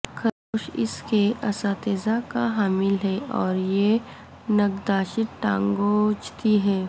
خرگوش اس کے اساتذہ کا حامل ہے اور یہ نگہداشت ٹانگوں کو ھیںچتی ہے